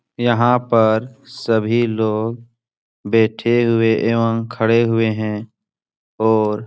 यहॉं पर सभी लोग बैठे हुए एवं खड़े हुए हैं और --